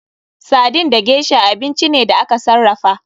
Sardin da gesha abinci ne da aka sarrafa.